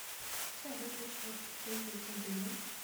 салют для чего используется дыба